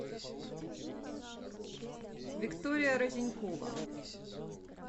виктория разинькова